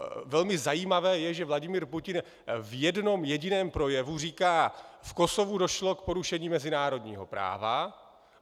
Velmi zajímavé je, že Vladimír Putin v jednom jediném projevu říká: "V Kosovu došlo k porušení mezinárodního práva.